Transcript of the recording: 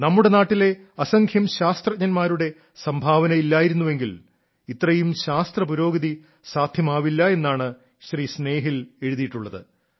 നമ്മുടെ നാട്ടിലെ അസംഖ്യം ശാസ്ത്രജ്ഞന്മാരുടെ സംഭാവന ഇല്ലായിരുന്നെങ്കിൽ ഇത്രയും ശാസ്ത്ര പുരോഗതി സാദ്ധ്യമാവില്ല എന്നാണ് ശ്രീ സ്നേഹിൽ എഴുതിയിട്ടുള്ളത്